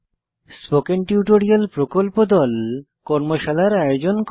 spoken tutorial প্রকল্প দল কর্মশালার আয়োজন করে